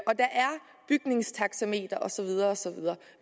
bygningstaxameter og så videre